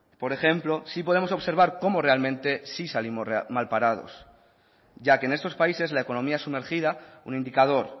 por ejemplo sí podemos observar cómo realmente sí salimos mal parados ya que en estos países la economía sumergida un indicador